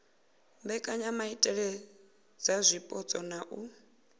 mbekanyamaitele dza zwipotso na u